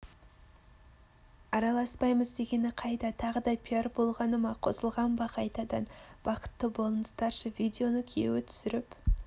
араласпаймыз дегены қайда тағы да пиар болғаны ма қосылған ба қайтадан бақытты болыңыздаршы видеоны күйеуі түсіріп